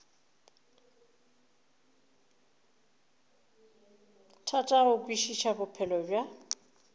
thata go kwešiša bophelo bja